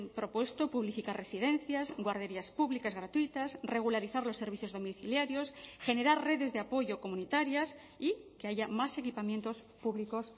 propuesto publificar residencias guarderías públicas gratuitas regularizar los servicios domiciliarios generar redes de apoyo comunitarias y que haya más equipamientos públicos